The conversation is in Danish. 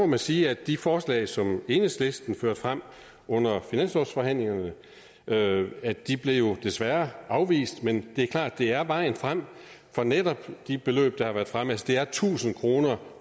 må sige at de forslag som enhedslisten førte frem under finanslovsforhandlingerne desværre afvist men det er klart at det er vejen frem netop de beløb der har været fremme det er tusind kroner